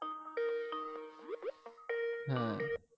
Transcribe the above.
হ্যাঁ